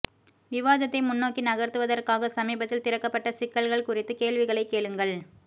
விவாதத்தை முன்னோக்கி நகர்த்துவதற்காக சமீபத்தில் திறக்கப்பட்ட சிக்கல்கள் குறித்து கேள்விகளைக் கேளுங்கள்